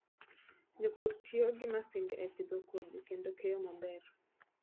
Jopur tiyo gi masinde e pidho kodhi kendo keyo maber.